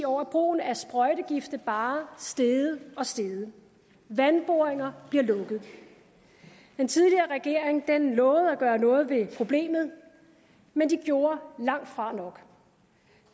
år er brugen af sprøjtegifte bare steget og steget og vandboringer bliver lukket den tidligere regering lovede at gøre noget ved problemet men den gjorde langt fra nok